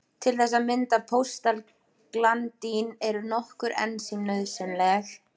Til þess að mynda prostaglandín eru nokkur ensím nauðsynleg.